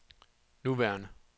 nuværende